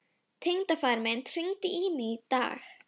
Tengdafaðir minn hringdi í mig í dag.